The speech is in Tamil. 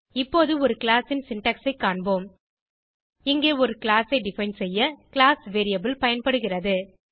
இப்போது ஒரு கிளாஸ் ன் சின்டாக்ஸ் ஐ காண்போம் இங்கே ஒரு கிளாஸ் ஐ டிஃபைன் செய்ய கிளாஸ் கீவர்ட் பயன்படுகிறது